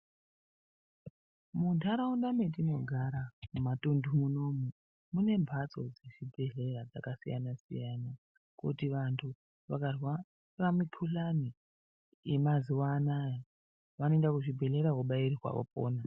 Munharaunda metinogara kumatunhu unono mune mphatso dzezvibhedhleya dzakasiyana-siyana kuti vanthu vakarwara mukuhlani yemazuwa anaa vanoenda kuzvibhedhleya vobaiwa vopona.